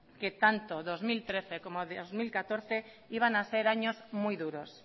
que tanto dos mil trece como dos mil catorce iban a ser años muy duros